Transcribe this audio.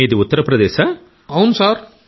దినేష్ ఉపాధ్యాయ గారు అవును అవును సార్